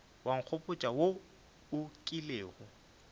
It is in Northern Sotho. wa nkgopotša wo o kilego